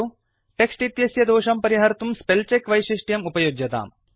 text इत्यस्य दोषं परिहर्तुं स्पेलचेक वैशिष्ट्यम् उपयुज्यताम्